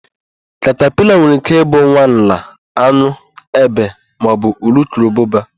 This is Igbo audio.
Katapila nwere íké ị bụ nwa nla, an̄ụ, ébé maọbụ urukurubụba.